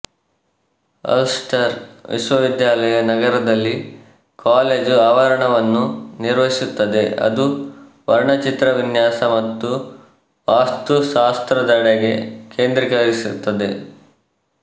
Ulster ವಿಶ್ವವಿದ್ಯಾಲಯ ನಗರದಲ್ಲಿ college ಆವರಣವನ್ನು ನಿರ್ವಹಿಸುತ್ತದೆ ಅದು ವರ್ಣಚಿತ್ರ ವಿನ್ಯಾಸ ಮತ್ತು ವಾಸ್ತುಶಾಸ್ತ್ರದೆಡೆಗೆ ಕೇಂದ್ರೀಕರಿಸುತ್ತದೆ